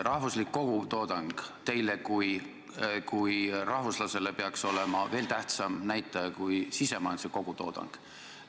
Rahvuslik kogutoodang peaks teile kui rahvuslasele olema veel tähtsam näitaja kui sisemajanduse kogutoodang.